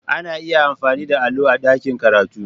Ana iya amfani da allo a ɗakin karatu.